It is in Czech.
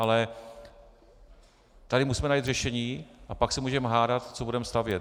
Ale tady musíme najít řešení, a pak se můžeme hádat, co budeme stavět.